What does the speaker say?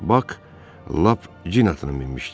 Bak lap cin atına minmişdi.